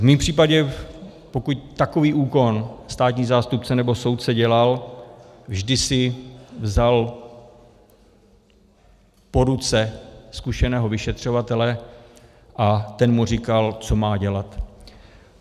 V mém případě pokud takový úkon státní zástupce nebo soudce dělal, vždy si vzal k ruce zkušeného vyšetřovatele a ten mu říkal, co má dělat.